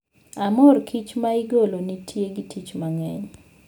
aMor kich ma igolo nitie gi tich mang'eny